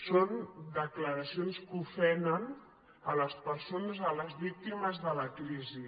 són declaracions que ofenen les persones les víctimes de la crisi